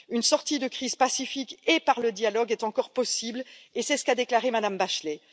Une sortie de crise pacifique et par le dialogue est encore possible, c'est ce qu'a déclaré Mme Bachelet.